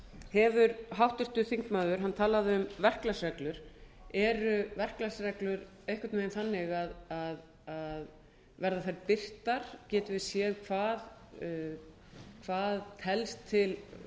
hefur háttvirtur þingmaður hann talaði um verklagsreglur eru verklagsreglur einhvern veginn þannig að verða þær birtar getum við séð hvað telst til